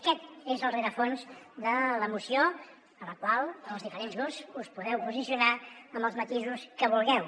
aquest és el rerefons de la moció a la qual els diferents grups us podeu posicionar amb els matisos que vulgueu